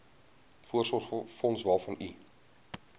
voorsorgsfonds waarvan u